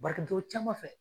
Bari ka don o caman fɛ.